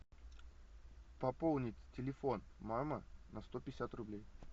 пополнить телефон мама на сто пятьдесят рублей